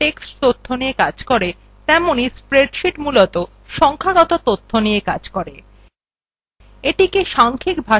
writer যেভাবে মূলত text তথ্য দিয়ে কাজ করে তেমনি spreadsheet মূলত সংখ্যাগত তথ্য নিয়ে কাজ করে